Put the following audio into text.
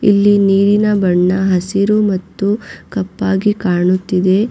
ಇಲ್ಲಿ ನೀರಿನ ಬಣ್ಣ ಹಸಿರು ಮತ್ತು ಕಪ್ಪಾಗಿ ಕಾಣುತ್ತಿದೆ.